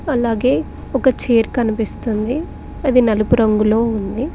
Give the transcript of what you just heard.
అలాగే ఒక చేర్ కనిపిస్తుంది అది నలుపు రంగులో ఉంది.